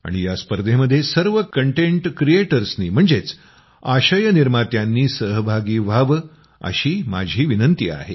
आणि या स्पर्धेमध्ये सर्व कंटेट क्रिएटर्सनी म्हणजेच आशय निर्मात्यांनी सहभागी व्हावं अशी माझी विनंती आहे